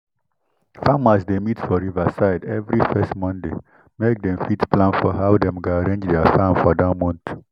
farmers dey meet for river side every first monday make dem fit plan for how dem go arrange their farm for that month